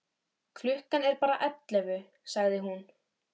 Klukkan er bara ellefu, sagði hún.